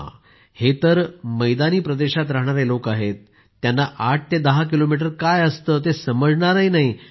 असो हे तर मैदानी प्रदेशात रहाणारे लोक आहेत त्यांना 8 ते 10 किलोमीटर काय असतं ते समजणार नाही